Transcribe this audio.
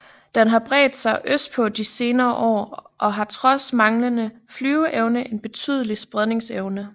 Den har bredt sig østpå i de senere år og har trods manglende flyveevne en betydelig spredningsevne